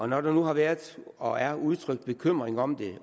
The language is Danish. når der nu har været og er udtrykt bekymring om det